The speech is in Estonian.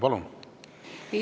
Palun!